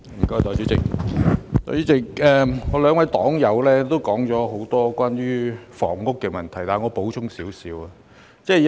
代理主席，我兩位黨友提出很多關於房屋的問題，我現在稍作補充。